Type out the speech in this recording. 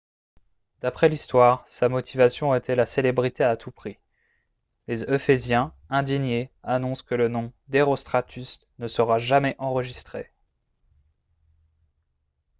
d'après l'histoire sa motivation était la célébrité à tout prix les ephésiens indignés annoncent que le nom d'herostratus ne sera jamais enregistré